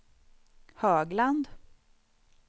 Högland